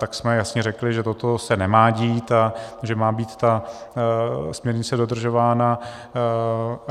Tak jsme jasně řekli, že toto se nemá dít a že má být ta směrnice dodržována.